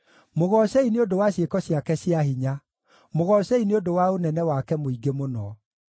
Mũgoocei nĩ ũndũ wa ciĩko ciake cia hinya; mũgoocei nĩ ũndũ wa ũnene wake mũingĩ mũno.